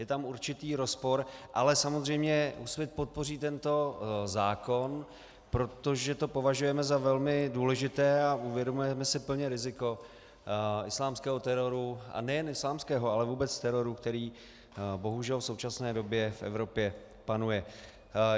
Je tam určitý rozpor, ale samozřejmě Úsvit podpoří tento zákon, protože to považujeme za velmi důležité a uvědomujeme si plně riziko islámského teroru, a nejen islámského, ale vůbec teroru, který bohužel v současné době v Evropě panuje.